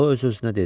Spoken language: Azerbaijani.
O öz-özünə dedi: